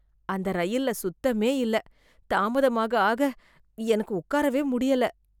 அந்த ரயில்ல சுத்தமே இல்ல, தாமதமாக ஆக எனக்கு உட்காரவே முடியல.